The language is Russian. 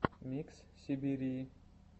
микс сибирии